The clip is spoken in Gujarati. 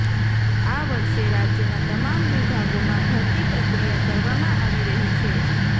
આ વર્ષે રાજયના તમામ વિભાગોમાં ભરતી પ્રક્રિયા કરવામાં આવી રહી છે